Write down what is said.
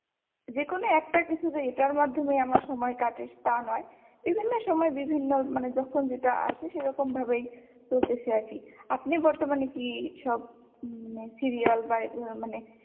যেকোনো একটা কিছু যে এইটার মাধ্যমেই আমার সময় কাটে তা নয় বিভিন্ন সময় বিভিন্ন মানে যখন যেটা আসে সেরকম ভাবেই চলতেছে আরকি আপনি বর্তমানে কি সব serial বা এই ধরনের মানে